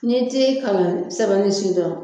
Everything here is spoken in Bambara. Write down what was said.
N'i tɛ kalan sɛbɛnni sidɔn